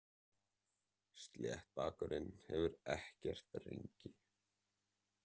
Sléttbakurinn hefur ekkert rengi.